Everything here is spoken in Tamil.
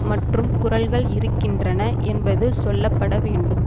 மற்றும் குரல்கள் இருக்கின்றன என்பது சொல்லப்பட வேண்டும்